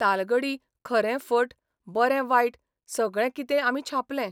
तालगढी खरें फट, बरें बायट सगळें कितें आमी छापलें.